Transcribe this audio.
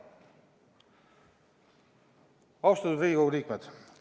Austatud Riigikogu liikmed!